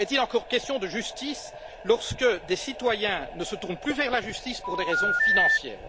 Est il encore question de justice lorsque des citoyens ne se tournent plus vers la justice pour des raisons financières?